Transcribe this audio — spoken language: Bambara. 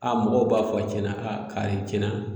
A mɔgɔw b'a fɔ cɛna a kari cɛna